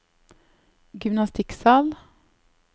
gymnastikksal